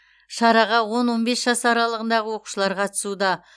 шараға он он бес жас аралығындағы оқушылар қатысуда